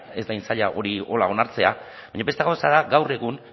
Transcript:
ez da hain zaila hori horrela onartzea baina beste gauza da gaur egun